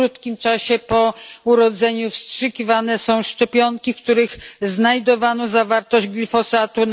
W krótkim czasie po urodzeniu wstrzykiwane są szczepionki, w których znajdowano zawartość glifosatu.